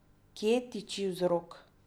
Kje tiči vzrok?